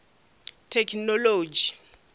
thekhinolodzhi